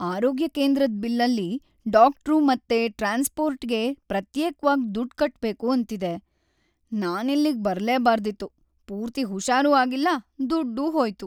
ಆರೋಗ್ಯ ಕೇಂದ್ರದ್‌ ಬಿಲ್ಲಲ್ಲಿ ಡಾಕ್ಟ್ರು ಮತ್ತೆ ಟ್ರಾನ್ಸ್ಪೋರ್ಟ್‌ಗೆ ಪ್ರತ್ಯೇಕ್ವಾಗ್‌ ದುಡ್ಡ್‌ ಕಟ್ಬೇಕು ಅಂತಿದೆ, ನಾನಿಲ್ಲಿಗ್‌ ಬರ್ಲೇ ಬಾರ್ದಿತ್ತು. ಪೂರ್ತಿ ಹುಷಾರೂ ಆಗಿಲ್ಲ, ದುಡ್ಡೂ ಹೋಯ್ತು.